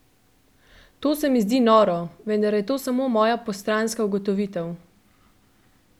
To se mi zdi noro, vendar je to samo moja postranska ugotovitev.